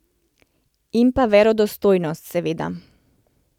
In pa verodostojnost, seveda.